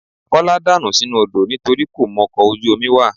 Kọ́lá dànù sínú odó nitorí kò mọkọ̀ ojú omi wà